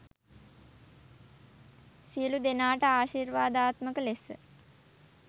සියලු දෙනාට ආශිර්වාදාත්මක ලෙස